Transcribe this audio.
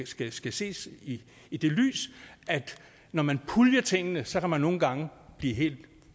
skal skal ses i i det lys at når man puljer tingene så kan man nogle gange blive helt